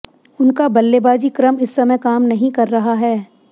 उनका बल्लेबाजी क्रम इस समय काम नहीं कर रहा है